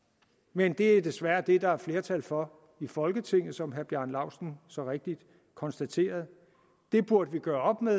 men det er desværre det der er flertal for i folketinget som herre bjarne laustsen så rigtigt konstaterede det burde vi gøre op med